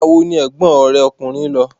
Ìgbà wo ni ẹ̀gbọ́n rẹ ọkùnrin lọ?